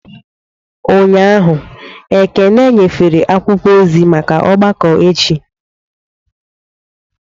Ụnyahụ, Ekene nyefere akwụkwọ ozi maka ọgbakọ echi.